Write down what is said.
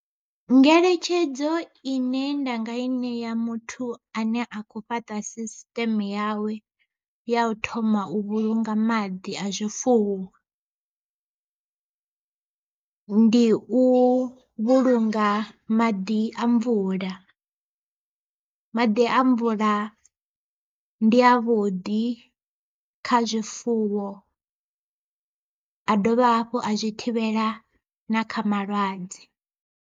Ngeletshedzo ine nda nga i ṋea muthu ane a kho fhaṱa sisiṱeme yawe ya u thoma u vhulunga maḓi a zwifuwo. Ndi u vhulunga maḓi a mvula, maḓi a mvula ndi a vhuḓi kha zwifuwo a dovha hafhu a zwi thivhela na kha malwadze.